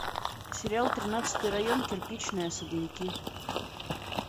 сериал тринадцатый район кирпичные особняки